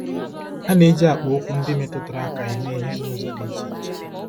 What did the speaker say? A na-eji akpaokwu ndị metụtara aka eme ihe n'ụzọ dị iche iche.